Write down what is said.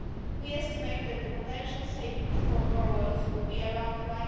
We estimate that the potential saving for borrowers will be around EUR